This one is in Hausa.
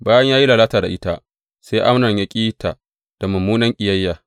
Bayan ya yi lalata da ita sai Amnon ya ƙi ta da mummunan ƙiyayya.